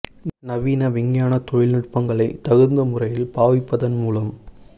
நவீன விஞ்ஞானத் தொழில் நுட்பங்களைத் தகுந்த முறையில் பாவிப்பதன் மூலம்